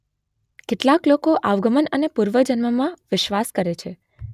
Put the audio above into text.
કેટલાક લોકો આવાગમન અને પૂર્વજન્મમાં વિશ્વાસ કરે છે